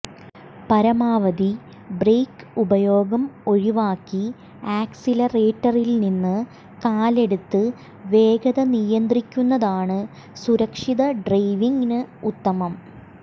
പരമാവധി ബ്രേക്ക് ഉപയോഗം ഒഴിവാക്കി ആക്സിലറേറ്ററില്നിന്ന് കാലെടുത്ത് വേഗത നിയന്ത്രിക്കുന്നതാണ് സുരക്ഷിത ഡ്രൈവിങിന് ഉത്തമം